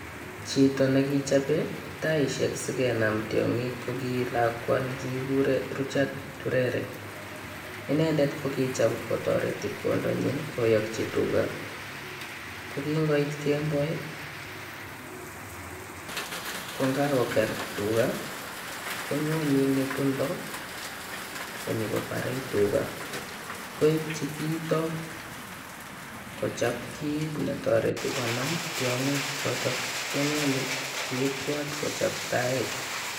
Chito nekichope taishek sikenam tiong'ik ko ki lakwa ne kiguren Richard Turere. Inendet kokicham kotoreti kwandanyin koyoki tuga. Ko kin ngoit kemboi, ko ngakoger tuga konyone ng'etundo konyokobore tuga, koityi kiito kochop kiit ne toreti konam tiong'ik choto, inendet kokibwat kochop tait.